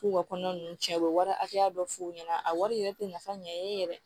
K'u ka kɔnɔna ninnu tiɲɛ u bɛ wari hakɛya dɔ f'u ɲɛna a wari yɛrɛ tɛ nafa ɲɛ e yɛrɛ